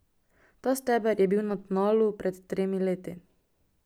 Ta steber je bil na tnalu pred tremi leti.